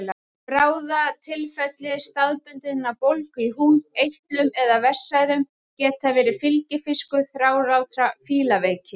Bráðatilfelli staðbundinnar bólgu í húð, eitlum eða vessaæðum geta verið fylgifiskur þrálátrar fílaveiki.